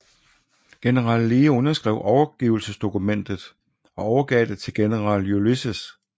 General Lee underskrev overgivelsesdokumentet og overgav det til General Ulysses S